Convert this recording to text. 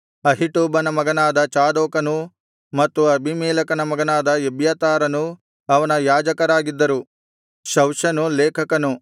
ಅಹೀಟೂಬನ ಮಗನಾದ ಚಾದೋಕನೂ ಮತ್ತು ಅಬೀಮೆಲೆಕನ ಮಗನಾದ ಎಬ್ಯಾತಾರನೂ ಅವನ ಯಾಜಕರಾಗಿದ್ದರು ಶವ್ಷನು ಲೇಖಕನು